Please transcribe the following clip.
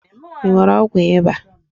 I nwere ọgwụ ịba?